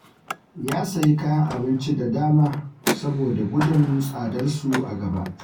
Ya sayi kayan abinci da dama saboda gudun tsadarsu a gaba